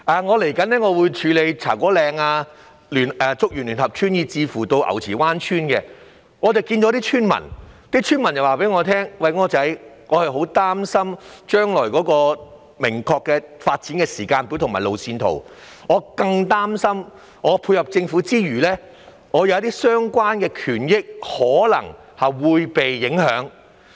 我即將協助處理茶果嶺、竹園聯合村及牛池灣村的清拆問題，區內村民曾向我表達憂慮，既擔心經落實的發展時間表及路線圖的詳情，亦擔心在配合政府之餘，自身權益可能會受到影響。